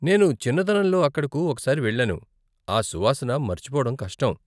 నేను చిన్నతనంలో అక్కడకు ఒకసారి వెళ్ళాను, ఆ సువాసన మర్చిపోవడం కష్టం.